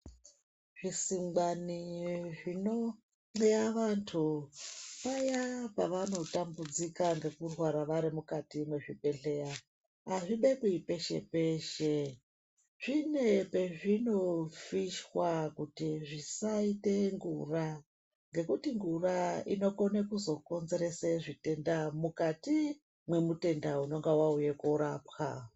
Zvisingwani zvinoxeya vantu paya pavanotambudzika ngekurwara vari mukati mwezvibhedhlera azvibekwi peshe peshe. Zvine pezvinofishwa kuti zvisaite ngura ngekuti ngura inokone kuzokonzerese zvitenda mukati mwemutenda unenge auye koorapwa.